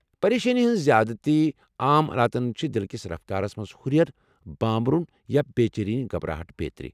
پریشٲنی ہٕنٛز زیادٕتی عام علاماتن چھےٚ دلہ کِس رفتارس منٛز ہُرٮ۪ر، بامبرُن یا بے٘ چینی، گھبراہٹ بیترِ۔